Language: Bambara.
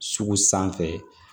Sugu sanfɛ